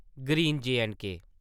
green - J and K